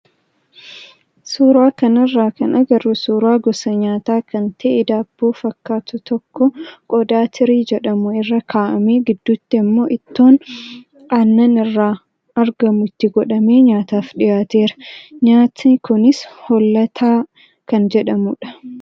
Suuraa kanarraa kan agarru suuraa gosa nyaataa kan ta'ee daabboo fakkaatu tokko qodaa tirii jedhamu irra kaa'amee gidduutti immoo ittoon aannan irra argamu itti godhamee nyaataaf dhiyaatedha. Nyaati kunis hollataa kan jedhamudha.